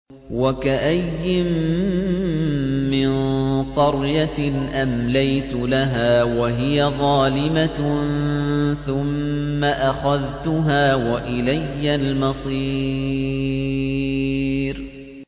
وَكَأَيِّن مِّن قَرْيَةٍ أَمْلَيْتُ لَهَا وَهِيَ ظَالِمَةٌ ثُمَّ أَخَذْتُهَا وَإِلَيَّ الْمَصِيرُ